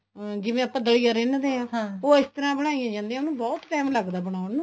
ਜਿਵੇਂ ਆਪਾਂ ਦਲੀਆ ਹਾਂ ਉਹ ਇਸ ਤਰ੍ਹਾਂ ਬਣਾਈ ਜਾਂਦੀ ਹੈ ਉਹਨੂੰ ਬਹੁਤ time ਲੱਗਦਾ ਬਣਾਉਣ ਨੂੰ